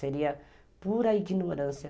Seria pura ignorância.